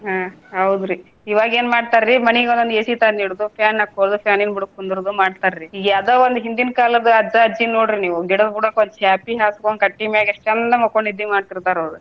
ಹಾ ಹೌದ್ರಿ ಇವಾಗ ಏನ್ ಮಾಡ್ತಾರಿ ಮನಿಗೊಂದೊಂದ AC ತಂದ ಇಡೋದು fan ಹಾಕ್ಕೋದು fan ನ ಬುಡುಕ ಕುಂದ್ರೋದು ಮಾಡ್ತಾರಿ. ಈಗ ಅದ ಒಂದ ಹಿಂದಿನ ಕಾಲದ ಅಜ್ಜ, ಅಜ್ಜಿನ ನೋಡ್ರಿ ನೀವು ಗಿಡದ ಬುಡುಕ ಒಂದ ಚಾಪಿ ಹಾಸ್ಕೊಂಡ ಕಟ್ಟಿಮ್ಯಾಗೆ ಎಷ್ಟ ಚಂದ ಮಕ್ಕೊಂದ ನಿದ್ದಿ ಮಾಡ್ತಿರ್ತಾರ್ ಅವ್ರ.